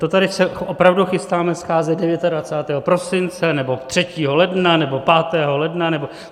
To se tady opravdu chystáme scházet 29. prosince, nebo 3. ledna, nebo 5. ledna?